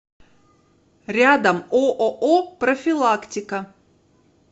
рядом ооо профилактика